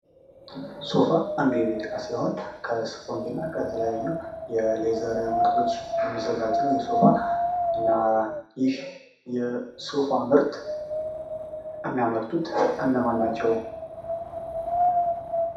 ሶፋ አንዱ የቤት ዕቃ ሲሆን ከስፖንጅ እና ከተለያዩ የሌዘር ምርቶች የሚዘጋጅ ነው:: ይህ ሶፋ እና ይህ የሶፋ ምርት የሚያመርቱት እነማን ናቸው?